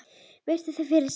Virti þau fyrir sér.